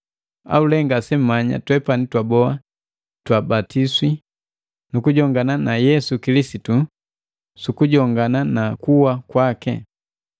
Au lee ngase mmanya twepani twaboa twe twabatiswa nukujongana na Yesu Kilisitu sukujongana na kuwa kwaki.